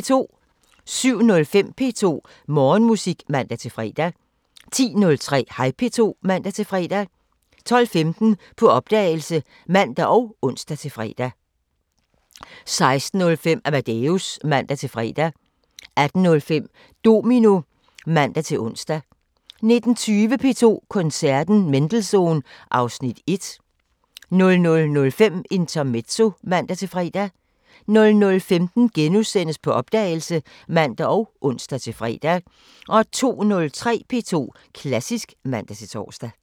07:05: P2 Morgenmusik (man-fre) 10:03: Hej P2 (man-fre) 12:15: På opdagelse (man og ons-fre) 16:05: Amadeus (man-fre) 18:05: Domino (man-ons) 19:20: P2 Koncerten – Mendelssohn (Afs. 1) 00:05: Intermezzo (man-fre) 00:15: På opdagelse *(man og ons-fre) 02:03: P2 Klassisk (man-tor)